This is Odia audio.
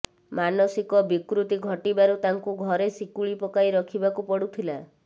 ମାନସିକ ବିକୃତି ଘଟିବାରୁ ତାଙ୍କୁ ଘରେ ଶିକୁଳି ପକାଇ ରଖିବାକୁ ପଡୁଥିଲା